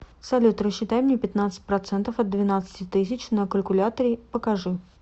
салют рассчитай мне пятнадцать процентов от двенадцати тысяч на калькуляторе покажи